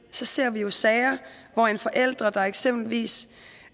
ser vi jo sager hvor en forælder der eksempelvis